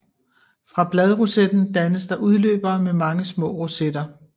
Fra bladrosetten dannes der udløbere med mange små rosetter